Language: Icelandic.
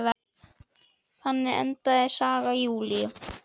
Þannig endaði saga Júlíu.